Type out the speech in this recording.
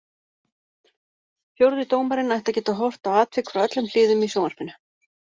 Fjórði dómarinn ætti að geta horft á atvik frá öllum hliðum í sjónvarpinu.